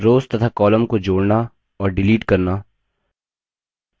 rows तथा columns को जोड़ना और डिलीट करना